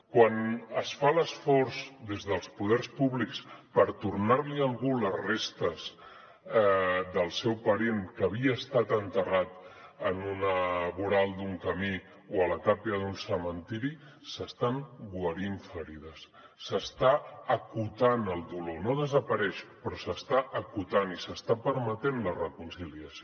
quan es fa l’esforç des dels poders públics per tornar li a algú les restes del seu parent que havia estat enterrat en un voral d’un camí o a la tàpia d’un cementiri s’estan guarint ferides s’està acotant el dolor no desapareix però s’està acotant i s’està permetent la reconciliació